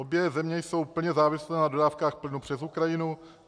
Obě země jsou plně závislé na dodávkách plynu přes Ukrajinu.